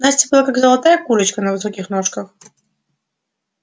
настя была как золотая курочка на высоких ножках